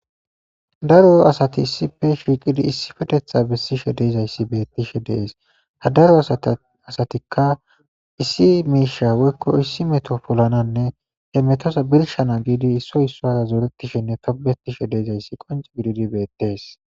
Daro asati issippe shiiqidi issipetetha bessishe de'izaysi beetishe de'ees. Ha daro asatika issi miisha woyko issi meto polanawnne he metoza birshana giidi issoy isuwara zoretishenne tobbetishe de'izaysi qoncce gididi beetees.